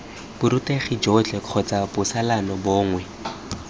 borutegi jotlhe kgotsa botsalano bongwe